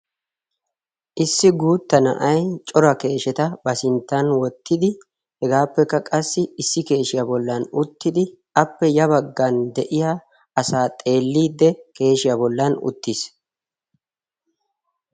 issi guutta na'ay cora keesheta ba sinttan wottidi hegaappekka qassi issi keeshiyaa bollan uttidi appe ya baggan de'iya asa xeelliidde keeshiyaa bollan uttiis.